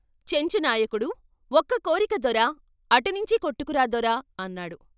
చెంచు నాయకుడు "ఒక్క కోరిక దొరా అటునుంచి కొట్టుకురా దొరా " అన్నాడు.